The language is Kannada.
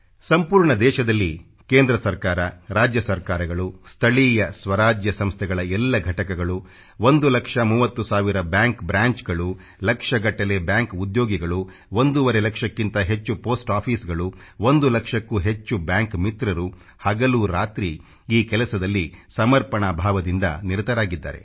ಸಂಪೂರ್ಣ ದೇಶದಲ್ಲಿ ಕೇಂದ್ರ ಸರ್ಕಾರ ರಾಜ್ಯ ಸರ್ಕಾರಗಳು ಸ್ಥಳೀಯ ಸ್ವರಾಜ್ಯ ಸಂಸ್ಥೆಗಳ ಎಲ್ಲ ಘಟಕಗಳು 1 ಲಕ್ಷ 30 ಸಾವಿರ ಬ್ಯಾಂಕ್ ಬ್ರಾಂಚ್ಗಳು ಲಕ್ಷಗಟ್ಟಲೆ ಬ್ಯಾಂಕ್ ಉದ್ಯೋಗಿಗಳು ಒಂದೂವರೆ ಲಕ್ಷಕ್ಕಿಂತ ಹೆಚ್ಚು ಪೆÇೀಸ್ಟ್ ಆಫೀಸ್ಗಳು ಒಂದು ಲಕ್ಷಕ್ಕೂ ಹೆಚ್ಚು ಬ್ಯಾಂಕ್ ಮಿತ್ರರು ಹಗಲು ರಾತ್ರಿ ಈ ಕೆಲಸದಲ್ಲಿ ಸಮರ್ಪಣಾ ಭಾವದಿಂದ ನಿರತರಾಗಿದ್ದಾರೆ